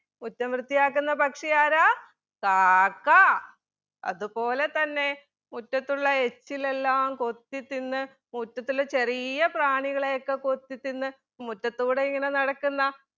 മുറ്റം വൃത്തിയാക്കുന്ന പക്ഷി ആരാ? കാക്ക അതുപോലെ തന്നെ മുറ്റത്തുള്ള എച്ചിലെല്ലാം കൊത്തിതിന്ന് മുറ്റത്തിലെ ചെറിയ പ്രാണികളെ ഒക്കെ കൊത്തി തിന്ന് മുറ്റത്തൂടെ ഇങ്ങനെ നടക്കുന്ന